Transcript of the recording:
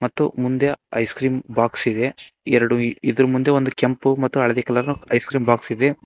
ಮತ್ತು ಮುಂದೆ ice cream box ಇದೆ ಎರಡು ಇದ್ರು ಮುಂದೆ ಒಂದು ಕೆಂಪು ಕಲರ್ ಮತ್ತೇ ಹಳದಿ ಕಲರ್ ಐಸ್ಕ್ರೀಮ್ ಬಾಕ್ಸ್ ಇದೆ.